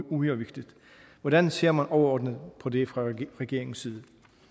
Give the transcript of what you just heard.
uhyre vigtigt hvordan ser man overordnet på det fra regeringens side